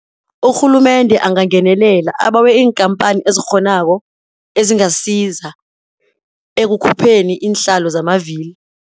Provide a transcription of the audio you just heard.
Urhulumende angangenelela, abawe iinkhamphani ezikghonako ezingasiza ekukhupheni iinhlalo zamavili.